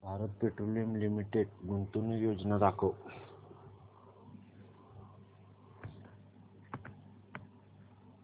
Bharat petroleum limited गुंतवणूक योजना दाखव